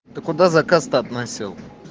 ты куда заказ то относил